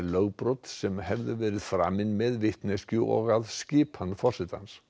lögbrot sem hefðu verið framin með vitneskju og að skipan forsetans